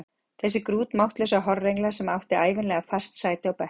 Þessi grútmáttlausa horrengla sem átti ævinlega fast sæti á bekknum!